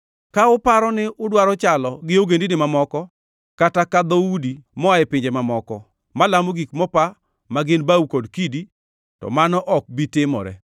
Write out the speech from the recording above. Ka uparo ni udwaro chalo gi ogendini mamoko, kata ka dhoudi moa e pinje mamoko malamo gik mopa ma gin bao kod kidi, to mano ok bi timore.